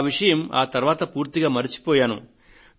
ఆ విషయం ఆ తరువాత పూర్తిగా మరచిపోయాను